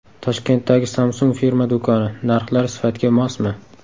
Toshkentdagi Samsung firma do‘koni: narxlar sifatga mosmi?.